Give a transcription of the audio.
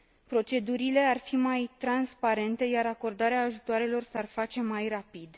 Procedurile ar fi mai transparente, iar acordarea ajutoarelor s ar face mai rapid.